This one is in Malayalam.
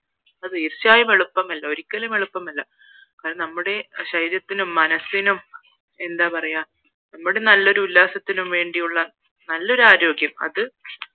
അത് തീർച്ചയായും എളുപ്പമല്ല ഒരിക്കലും എളുപ്പമല്ല അത് നമ്മുടെ ശരീരത്തിനും മനസ്സിനും എന്താ പറയാ നമ്മുടെ നല്ലൊരു ഉല്ലാസത്തിനും വേണ്ടിയുള്ള നല്ലൊരു ആരോഗ്യം അത്